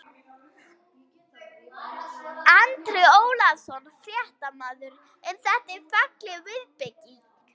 Andri Ólafsson, fréttamaður: En þetta er falleg viðbygging?